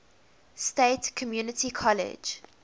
state community college